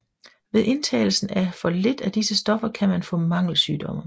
Ved indtagelse af for lidt af disse stoffer kan man få mangelsymptomer